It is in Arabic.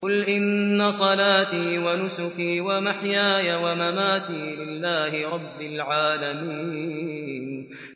قُلْ إِنَّ صَلَاتِي وَنُسُكِي وَمَحْيَايَ وَمَمَاتِي لِلَّهِ رَبِّ الْعَالَمِينَ